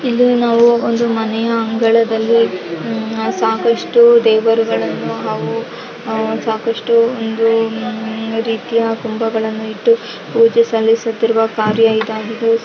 ಇಲ್ಲಿ ನಾವು ಒಂದು ಮನೆಯ ಅಂಗಳದಲ್ಲಿ ಹ್ಮ್ಮ್ ಸಾಕಷ್ಟು ದೇವರುಗಳು ಹಾಗು ಸಾಕಷ್ಟು ಒಂದು ರೀತಿಯ ಕಂಬಗಳನ್ನು ಇಟ್ಟು ಪೂಜೆ ಸಲ್ಲಿಸುತ್ತಿರುವ ಕಾರ್ಯ ಇದಾಗಿದೆ.